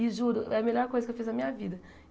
E juro, é a melhor coisa que eu fiz na minha vida.